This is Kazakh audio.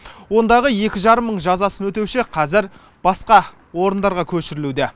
ондағы екі жарым мың жазасын өтеуші қазір басқа орындарға көшірілуде